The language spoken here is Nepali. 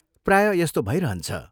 प्राय यस्तो भइरहन्छ।